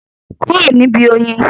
Kúrò níbi oyin?